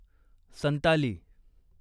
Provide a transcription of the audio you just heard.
Santali